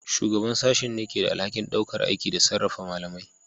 Shugaban Sashen ne ke da alhakin ɗaukar aiki da sarrafa malamai.